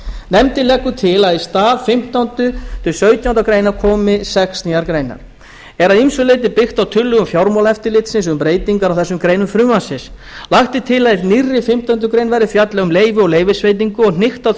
nefndin leggur til að í stað fimmtándu til sautjándu grein komi sex nýjar greinar er að ýmsu leyti byggt á tillögum fjármálaeftirlitsins um breytingar á þessum greinum frumvarpsins lagt er til að í nýrri fimmtándu grein verði fjallað um leyfi og leyfisveitingu og hnykkt á því